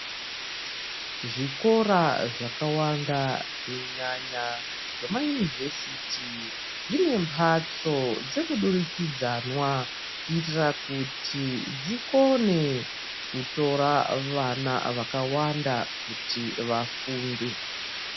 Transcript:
Zvikora zvakawanda kunyanya zvamayunivhesiti zvine mbatso dzeku durikidzanwa kuitira kuti dzikone kutora vana vakawanda kuti vafunde.